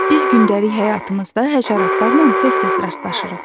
Biz gündəlik həyatımızda həşəratlarla tez-tez rastlaşırıq.